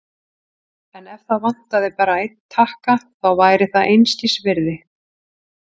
En ef það vantaði bara einn takka, þá væri það einskisvirði.